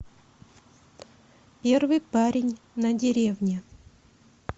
первый парень на деревне